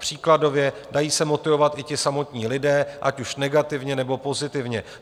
Příkladově - dají se motivovat i ti samotní lidé, ať už negativně, nebo pozitivně.